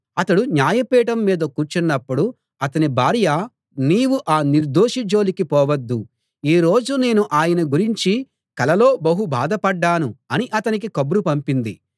అతడు న్యాయపీఠం మీద కూర్చున్నప్పుడు అతని భార్య నీవు ఆ నిర్దోషి జోలికి పోవద్దు ఈ రోజు నేను ఆయన గురించి కలలో బహు బాధపడ్డాను అని అతనికి కబురు పంపింది